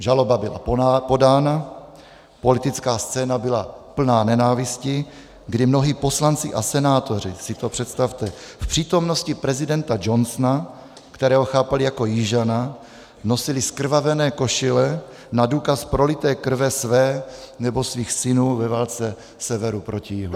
Žaloba byla podána, politická scéna byla plná nenávisti, kdy mnozí poslanci a senátoři, si to představte, v přítomnosti prezidenta Johnsona, kterého chápali jako Jižana, nosili zkrvavené košile na důkaz prolité krve své nebo svých synů ve válce Severu proti Jihu.